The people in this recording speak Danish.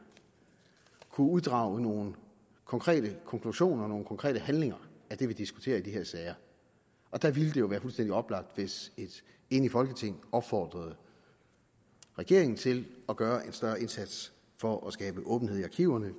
kunne uddrage nogle konkrete konklusioner nogle konkrete handlinger af det vi diskuterer i de her sager der ville det jo være fuldstændig oplagt hvis et enigt folketing opfordrede regeringen til at gøre en større indsats for at skabe åbenhed i arkiverne